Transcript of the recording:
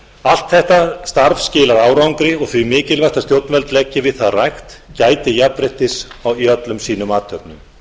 allt þetta starf skilar árangri og því mikilvægt að stjórnvöld leggi við það rækt gæti jafnréttis í öllum sem athöfnum